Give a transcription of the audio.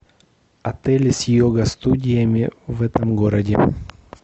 отели с йога студиями в этом городе